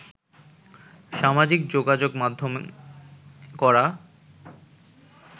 সামাজিক যোগাযোগ মাধ্যমে করা